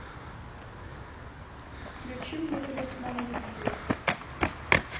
включи мне талисман любви